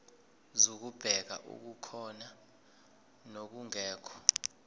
zokubheka okukhona nokungekho